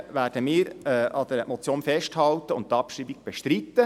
Deshalb werden wir an der Motion festhalten und die Abschreibung bestreiten.